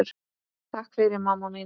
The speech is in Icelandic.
Takk fyrir mamma mín.